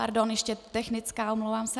- Pardon, ještě technická, omlouvám se.